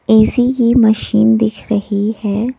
ऐसी की मशीन दिख रही है।